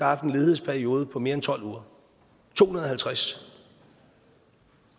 haft en ledighedsperiode på mere end tolv uger to hundrede og halvtreds